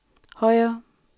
højere